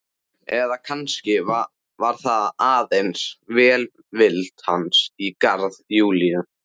Eða kannski var það aðeins velvild hans í garð Júlíu.